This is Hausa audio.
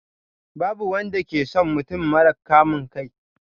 Babu wanda ke son mutum mara kamun kai.